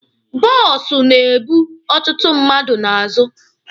Bụsọ na ebu ọtụtụ mmadụ n'azụ.